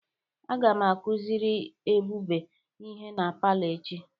Aga m akuziri ebube ihe na palọ echi.